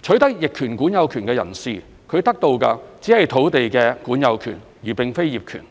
取得逆權管有權的人士，他得到的只是土地的管有權而並非業權。